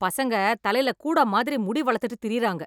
பசங்க தலைல கூட மாறி முடி வளத்திட்டு திரியுறாங்க.